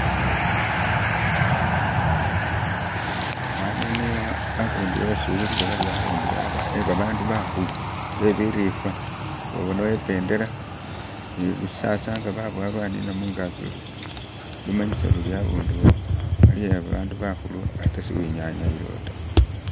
Khano niyo hakundu hesi uwulila bari hakundu he babandu bakhulu bebirifa babonawo pendela ni lusasa nga babuwa lwanina mungagi luri lumanyisa luri khakunduwo khali khebabandu bakhulu ate tsiwenyanyayilawo ta